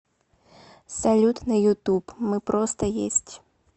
салют на ютуб мыпростоесть